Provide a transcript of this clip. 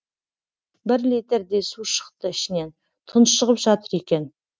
бір литрдей су шықты ішінен тұншығып жатыр екен